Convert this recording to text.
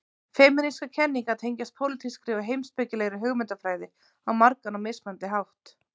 Femínískar kenningar tengjast pólitískri og heimspekilegri hugmyndafræði á margan og mismunandi hátt.